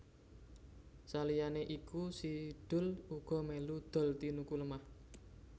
Saliyané iku Si Doel uga melu dol tinuku lemah